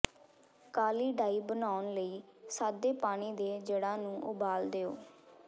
ਕਾਲੀ dye ਬਣਾਉਣ ਲਈ ਸਾਦੇ ਪਾਣੀ ਦੇ ਜੜ੍ਹਾਂ ਨੂੰ ਉਬਾਲ ਦਿਓ